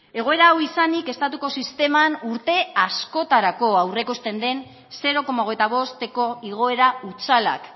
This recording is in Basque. egoera hau izanik estatuko sisteman urte askotarako aurreikusten den zero koma hogeita bosteko igoera hutsalak